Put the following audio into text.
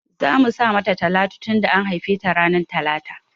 Zamu sa mata Talatu tunda an haife ta ranar talata